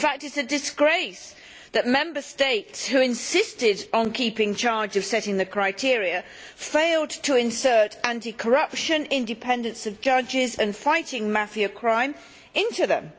In fact it is a disgrace that Member States which insisted on keeping charge of setting the criteria failed to insert anti corruption, the independence of judges and fighting mafia crime into them.